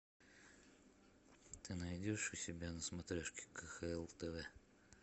ты найдешь у себя на смотрешке кхл тв